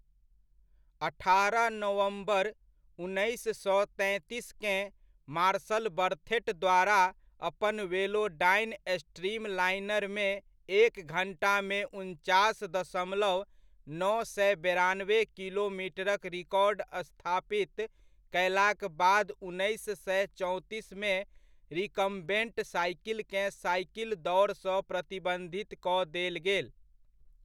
अठारह नवम्बर, उन्नैस सए तैंतीसकेँ मार्सल बर्थेट द्वारा अपन वेलोडाइन स्ट्रीमलाइनरमे एक घण्टामे उनचास दशमलव नओ सए बेरानबे किलोमीटरक रिकॉर्ड स्थापित कयलाक बाद उन्नैस सए चौंतीसमे रिकम्बेन्ट साइकिलकेँ साइकिल दौड़सँ प्रतिबन्धित कऽ देल गेल।